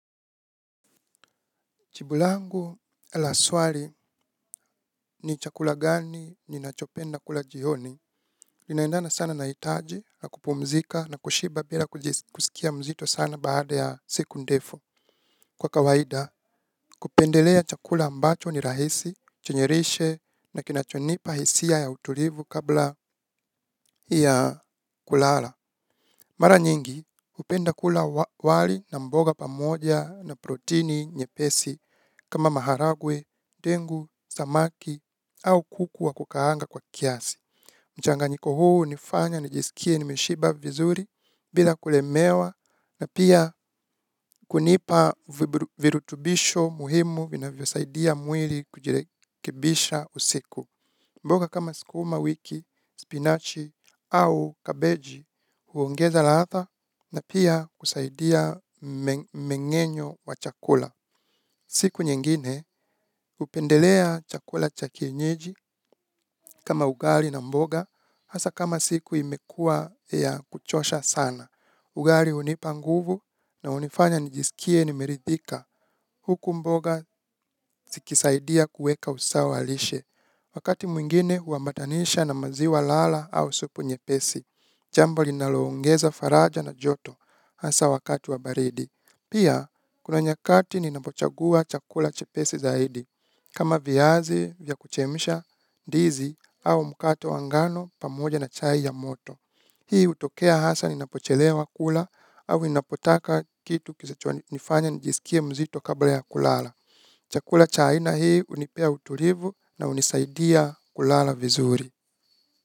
Jibu langu la swali ni chakula gani ninachopenda kula jioni. Inaendana sana na hitaji na kupumzika na kushiba bila kusikia mzito sana baada ya siku ndefu. Kwa kawaida, kupendelea chakula ambacho ni rahisi, chenye lishe na kinachonipa hisia ya utulivu kabla ya kulala. Mara nyingi, hupenda kula wali na mboga pamoja na protini nye pesi kama maharagwe, dengu, samaki au kuku wa kukaanga kwa kiasi. Mchanganyiko huu hunifanya, nijiskie, nimeshiba vizuri bila kulemewa na pia kunipa virutubisho muhimu vinavyosaidia mwili kujirekibisha usiku. Mboga kama sukuma wiki, spinach au cabbage huongeza ladha na pia kusaidia mengenyo wa chakula. Siku nyengine hupendelea chakula cha kienyeji kama ugali na mboga hasa kama siku imekua ya kuchosha sana. Ugali hunipa nguvu na hunifanya nijiskie nimeridhika. Huku mboga zikisaidia kueka usawa lishe. Wakati mwingine huambatanisha na maziwa lala au supu nyepesi. Jambo linaloongeza faraja na joto hasa wakati wa baridi. Pia, kuna nyakati ninapochagua chakula chepesi zaidi. Kama viazi, vya kuchemsha, ndizi, au mkato wa ngano pamoja na chai ya moto. Hii hutokea hasa ninapochelewa kula au ninapotaka kitu kisichonifanya nijiskie mzito kabla ya kulala. Chakula cha aina hii hunipea utulivu na hunisaidia kulala vizuri.